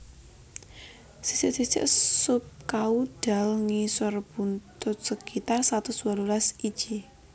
Sisik sisik subkaudal ngisor buntut sekitar satus wolulas iji